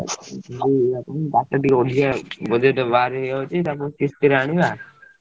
ବାଟ ଟିକେ ଅଧିକା ଆଉ budget ବାହାରେ ହେଇଯାଉଛି ତାକୁ କିସ୍ତି ରେ ଆଣିବା।